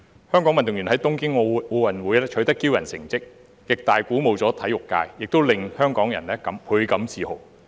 香港運動員在東京奧林匹克運動會取得驕人的成績，極大地鼓舞了體育界，也令香港人倍感自豪。